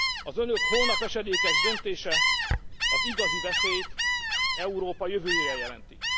Az Önök holnap esedékes döntése az igazi veszélyt Európa jövőjére jelenti.